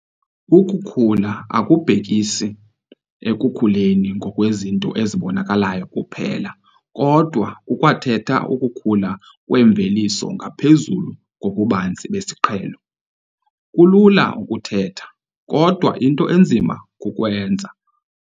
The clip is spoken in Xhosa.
Ukukhula akubhekisi ekukhuleni ngokwezinto ezibonakalayo kuphela kodwa kukwathetha ukukhula kwemveliso ngaphezulu kobubanzi besiqhelo. Kulula ukuthetha, kodwa into enzima kukwenza.